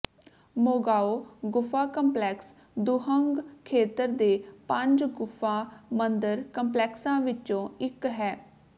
Mogao ਗੁਫਾ complex Dunhuang ਖੇਤਰ ਦੇ ਪੰਜ ਗੁਫਾ ਮੰਦਿਰ ਕੰਪਲੈਕਸਾਂ ਵਿੱਚੋਂ ਇੱਕ ਹੈ